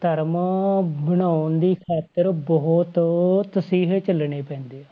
ਧਰਮ ਬਣਾਉਣ ਦੀ ਖ਼ਾਤਰ ਬਹੁਤ ਤਸੀਹੇ ਝੱਲਣੇ ਪੈਂਦੇ ਆ